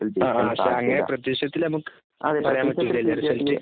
അങ്ങനെ പ്രതീക്ഷത്തിൽ നമുക്ക് പറയാൻ പറ്റില്ലല്ലോ